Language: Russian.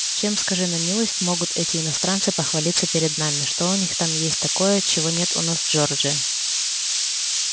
чем скажи на милость могут эти иностранцы похвалиться перед нами что у них там есть такое чего нет у нас в джорджии